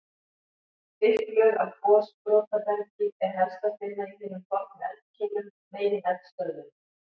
Þykk lög af gosbrotabergi er helst að finna í hinum fornu eldkeilum, megineldstöðvunum.